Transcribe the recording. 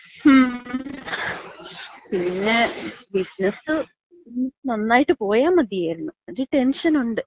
മ്മ്. പിന്നെ ബിസിനസ് നന്നായിട്ട് പോയാ മതിയായിരുന്നു. ഒര് ടെൻഷനുണ്ട്.